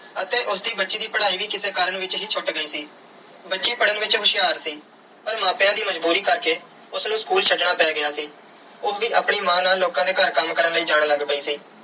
ਅਤੇ ਉਸ ਦੀ ਬੱਚੀ ਦੀ ਪੜ੍ਹਾਈ ਵੀ ਕਿਸੇ ਕਾਰਨ ਵਿੱਚ ਹੀ ਛੁੱਟ ਗਈ ਸੀ। ਬੱਚੀ ਪੜ੍ਹਨ ਵਿੱਚ ਹੁਸ਼ਿਆਰ ਸੀ ਪਰ ਮਾਪਿਆਂ ਦੀ ਮਜ਼ਬੂਰੀ ਕਰਕੇ ਉਸ ਨੂੰ school ਛੱਡਣਾ ਪੈ ਗਿਆ ਸੀ। ਉਹ ਵੀ ਆਪਣੀ ਮਾਂ ਨਾਲ ਲੋਕਾਂ ਦੇ ਘਰ ਕੰਮ ਕਰਨ ਲਈ ਜਾਣ ਲੱਗ ਪਈ ਸੀ।